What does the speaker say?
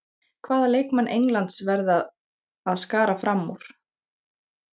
Hvaða leikmann Englands verða að skara fram úr?